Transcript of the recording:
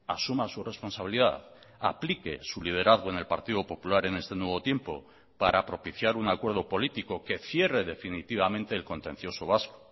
asuma su responsabilidad aplique su liderazgo en el partido popular en este nuevo tiempo para propiciar un acuerdo político que cierre definitivamente el contencioso vasco